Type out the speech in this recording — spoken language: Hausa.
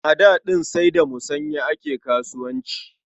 A da ɗin sai da musanya ake kasuwanci.